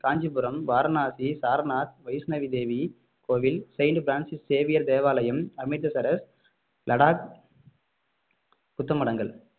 காஞ்சிபுரம் வாரணாசி சாரநாத் வைஷ்ணவிதேவி கோவில் Saint Francis Xavier தேவாலயம் அமிர்தசரஸ் லடாக் புத்த மடங்கள்